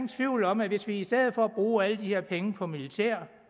tvivl om at hvis vi i stedet for at bruge alle de her penge på militær